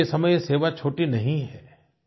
आज के समय ये सेवा छोटी नहीं है